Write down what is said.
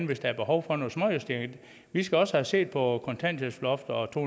hvis der er behov for nogle småjusteringer vi skal også have set på kontanthjælpsloftet og to